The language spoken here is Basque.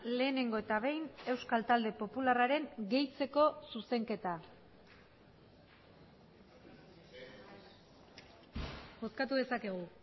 lehenengo eta behin euskal talde popularraren gehitzeko zuzenketa bozkatu dezakegu